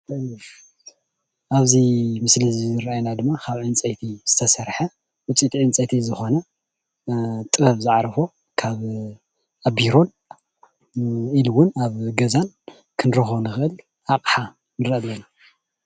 ኣብእዚ ምስሊ ዝረኣዩና ድማ ካብ ዕንፀይቲ ዝተሰርሐ ውፅኢት ዕንፀይቲ ዝኮኑ ጥበብ ዝዓረፎ ካብ ቢሮን ኢሉ እውን ኣብ ገዛን ክንረክቦ እንክእል ኣቅሓ ይረኣይ ኣሎ።